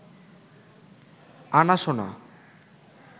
আনা সোনা